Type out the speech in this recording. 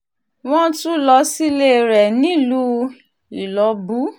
wọ́n tún lọ sílé rẹ̀ nílùú ìlọ́bù